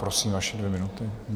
Prosím, vaše dvě minuty.